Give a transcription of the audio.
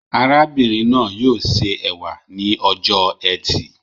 Arábìnrin náà yóò ṣe ẹ̀wà ní ọjọ ẹtì